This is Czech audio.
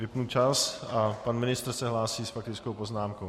Vypnu čas a pan ministr se hlásí s faktickou poznámkou.